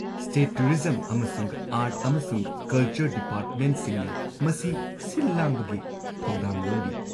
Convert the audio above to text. State tourism ꯑꯃꯁꯨꯡ art ꯑꯃꯁꯨꯡ culture ꯗꯤꯄꯥꯔꯠꯃꯦꯟꯠꯁꯤꯡꯅ ꯃꯁꯤ ꯁꯤꯜ ꯂꯥꯡꯕꯒꯤ ꯊꯧꯗꯥꯡ ꯂꯧꯔꯤ꯫